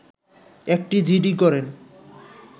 একটি জিডি করেন